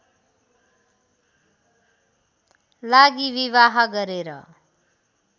लागि विवाह गरेर